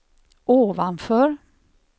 ovanför